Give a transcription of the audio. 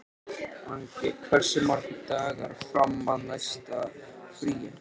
Angi, hversu margir dagar fram að næsta fríi?